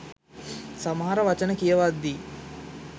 සමහර වචන කියවද්දි.